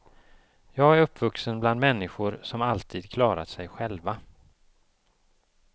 Jag är uppvuxen bland människor som alltid klarat sig själva.